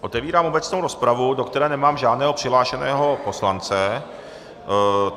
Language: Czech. Otevírám obecnou rozpravu, do které nemám žádného přihlášeného poslance.